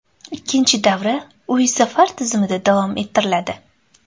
Ikkinchi davra uy-safar tizimida davom ettiriladi.